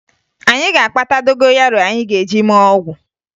Anyị ga-akpata dogoyaro anyị ga-eji mee ọgwụ